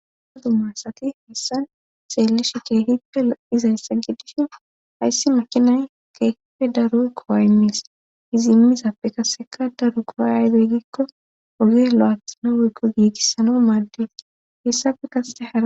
aha dumma sati hessan xeelli shike hippe oizayssa giddishi hayssi makinay keepe daru kowa imis izimmizappe kaseka daru koway aydeyggikko oge lo7athano wuyggo giigissano maadde hessafe kase haa